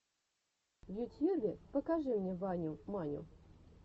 в ютьюбе покажи мне ваню маню